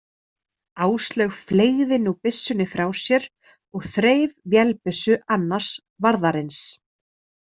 Áslaug fleygði nú byssunni frá sér og þreif vélbyssu annars varðarins.